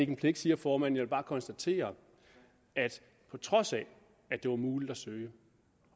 en pligt siger formanden vil bare konstatere at på trods af at det var muligt at søge